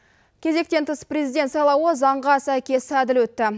кезектен тыс президент сайлауы заңға сәйкес әділ өтті